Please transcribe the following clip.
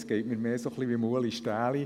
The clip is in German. Es geht mir eher so wie Ueli Stähli: